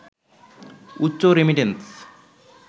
উচ্চ রেমিট্যান্স